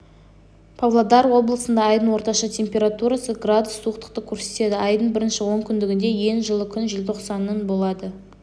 павлодар облысында айдың орташа температурасы градус суықтықты көрсетеді айдың бірінші онкүндігінде ең жылы күн желтоқсанның болады